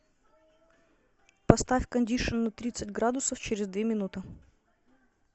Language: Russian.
поставь кондишн на тридцать градусов через две минуты